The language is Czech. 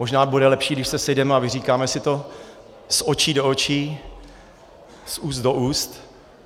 Možná bude lepší, když se sejdeme a vyříkáme si to z očí do očí, z úst do úst.